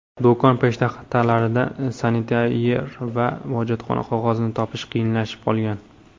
Do‘kon peshtaxtalaridan sanitayzer va hojatxona qog‘ozini topish qiyinlashib qolgan.